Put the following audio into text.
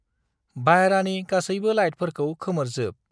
बायह्रानि गासैबो लाइटफोरखौ खोमोरजोब।